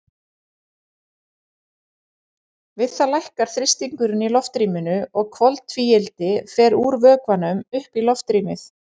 Við það lækkar þrýstingurinn í loftrýminu og koltvíildi fer úr vökvanum upp í loftrýmið.